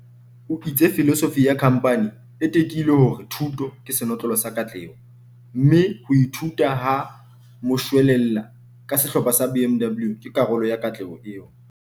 O itse filosofi ya khamphani e tekile hore thuto ke senotlolo sa katleho, mme "ho ithuta ha moshwelella ka Sehlopha sa BMW ke karolo ya katleho eo".